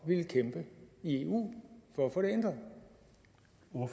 ville kæmpe i eu for at få de